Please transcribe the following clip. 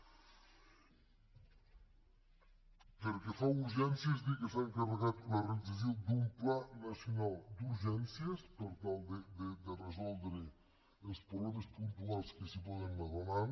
pel que fa a urgències dir que s’ha encarregat la realització d’un pla nacional d’urgències per tal de resoldre els problemes puntuals que s’hi poden anar donant